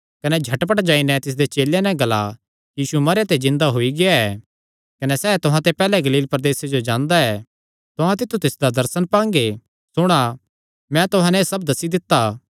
कने झटपट जाई नैं तिसदे चेलेयां नैं ग्ला कि यीशु मरेयां ते जिन्दा होई गेआ ऐ कने सैह़ तुहां ते पैहल्ले गलील प्रदेसे जो जांदा ऐ तुहां तित्थु तिसदा दर्शन पांगे सुणा मैं तुहां नैं एह़ सब दस्सी दित्ता